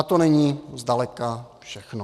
A to není zdaleka všechno.